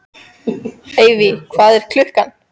Evey, hvað er klukkan?